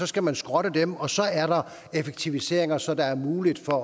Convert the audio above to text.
skal man skrotte dem og så er der effektiviseringer så der er mulighed for